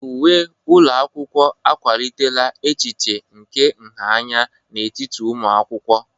Uwe ụlọ akwụkwọ akwalitela echiche nke nha anya n'etiti ụmụ akwụkwọ.